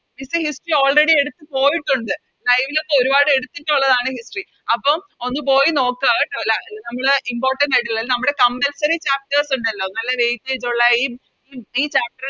Miss history already എടുത്ത് പോയിട്ടൊണ്ട് Live ലോക്കെ ഒരുപാടെടുത്തിട്ടുള്ളെയാണ് History അപ്പൊ ഒന്ന് പോയി നോക്ക കേട്ടോ എല്ലാ നമ്മള് Impotant ആയിട്ടുള്ള നമ്മടെ Compulsory chapters ഇണ്ടല്ലോ നല്ല Late ആയിട്ടൊള്ളേ ഈ Chapter